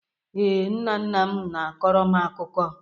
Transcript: Ee, nna nna m na-akọrọ m akụkọ.